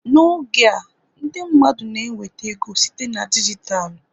N'oge a ndị mmadụ na-enweta ego site na dijitalụ